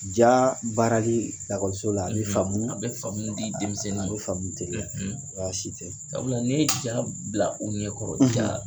Jaa baarali lakɔliso la, a be faamu bɛ famu a bɛ faamu di denmisɛnnin ma. A be faamu teliya. baasi te. Sabula n'i ye ja b bila u ɲɛ kɔrɔ ja